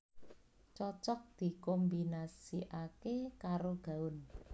Cocok dikombinasikaké karo gaun